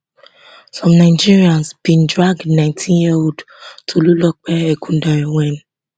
some nigerians bin drag nineteen yearold tolulope ekundayo wen